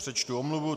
Přečtu omluvu.